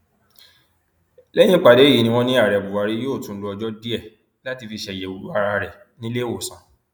lẹyìn ìpàdé yìí ni wọn ní ààrẹ buhari yóò tún lo ọjọ díẹ láti fi ṣàyẹwò ara rẹ nílẹẹwọsán